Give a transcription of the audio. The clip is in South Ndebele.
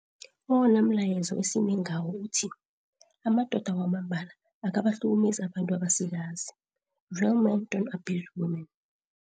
Owonamlayezo esime ngawo uthi 'Amado da Wamambala Aka bakhahlumezi Abantu Abasikazi, Real men don't abuse women'.